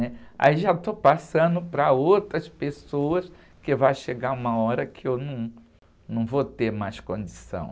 né? Aí já estou passando para outras pessoas que vai chegar uma hora que eu num, não vou ter mais condição.